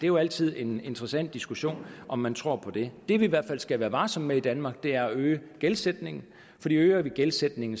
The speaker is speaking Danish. jo altid en interessant diskussion om man tror på det det vi i hvert fald skal være varsomme med i danmark er at øge gældsætningen for øger vi gældsætningen